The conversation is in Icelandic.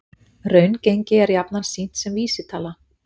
Raungengi er jafnan sýnt sem vísitala